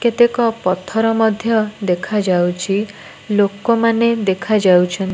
କେତେକ ପଥର ମଧ୍ୟ ଦେଖାଯାଉଛି ଲୋକମାନେ ଦେଖାଯାଉ --